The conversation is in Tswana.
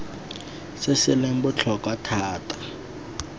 se se leng botlhokwa thata